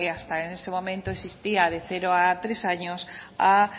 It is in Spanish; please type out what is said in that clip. hasta ese momento existía de cero tres años a